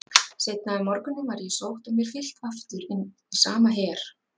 Seinna um morguninn var ég sótt og mér fylgt aftur inn í sama her